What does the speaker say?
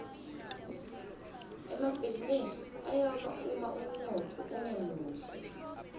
emabhizinisi ayawa uma umnotfo ungemuhle